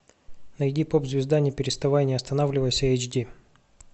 найди поп звезда не переставай не останавливайся эйч ди